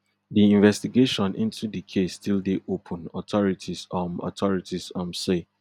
di investigation into di case still dey open authorities um authorities um say